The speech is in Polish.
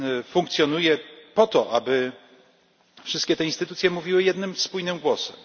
funkcjonuje po to, aby wszystkie te instytucje mówiły jednym spójnym głosem.